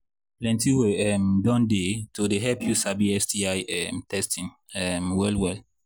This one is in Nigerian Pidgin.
plenty way um don they to help you sabi sti um testing um well well